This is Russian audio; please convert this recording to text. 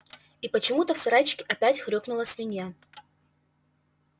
и почему-то в сарайчике опять хрюкнула свинья